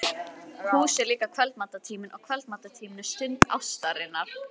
Hús er líka kvöldmatartíminn og kvöldmatartíminn er stund ástarinnar.